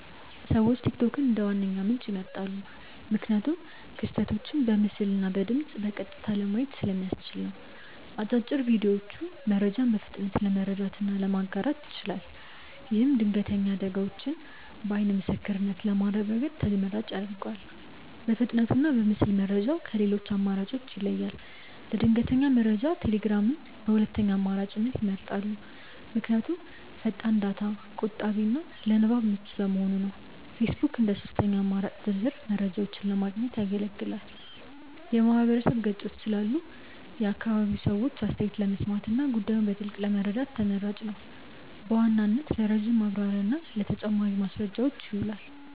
ሰዎች ቲክቶክን እንደ ዋነኛ ምንጭ ይመርጣሉ። ምክንያቱም ክስተቶችን በምስልና በድምፅ በቀጥታ ለማየት ስለሚያስችል ነው። አጫጭር ቪዲዮዎቹ መረጃን በፍጥነት ለመረዳትና ለማጋራት ይችላል። ይህም ድንገተኛ አደጋዎችን በዓይን ምስክርነት ለማረጋገጥ ተመራጭ ያደርገዋል። በፍጥነቱና በምስል መረጃው ከሌሎች አማራጮች ይለያል። ለድንገተኛ መረጃ ቴሌግራምን በሁለተኛ አማራጭነት ይመርጣሉ። ምክንያቱም ፈጣን፣ ዳታ ቆጣቢና ለንባብ ምቹ በመሆኑ ነው። ፌስቡክ እንደ ሦስተኛ አማራጭ ዝርዝር መረጃዎችን ለማግኘት ያገለግላል። የማህበረሰብ ገጾች ስላሉ የአካባቢውን ሰዎች አስተያየት ለመስማትና ጉዳዩን በጥልቀት ለመረዳት ተመራጭ ነው። በዋናነት ለረጅም ማብራሪያና ለተጨማሪ ማስረጃዎች ይውላል።